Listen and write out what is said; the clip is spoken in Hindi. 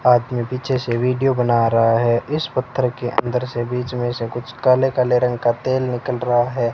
आदमी पीछे से वीडियो बना रहा है इस पत्थर के अंदर से बीच में से कुछ काले काले रंग का तेल निकल रहा है।